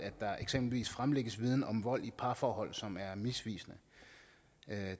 der eksempelvis fremlægges viden om vold i parforhold som er misvisende